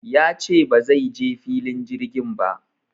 Ya ce ba zai je filin jirgin ba